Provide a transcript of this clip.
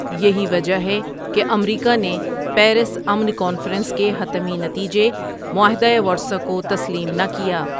یہی وجہ ہے کہ امریکا نے پیرس امن کانفرنس کے حتمی نتیجے معاہدہ ورسائے کو تسلیم نہ کیا۔